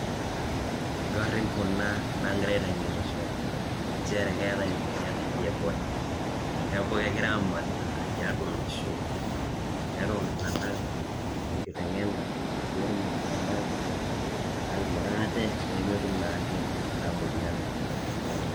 Gariin kuna naing'ira ateng'enisho ncheere keetai moyaan naji Ebola. Neeku kegirai amanaa te atua loshoo pee etuum iltung'ana nkitenyena pee etuum iltung'anak aing'oraa atee pee ametuum naeke enia moyaan e Ebola.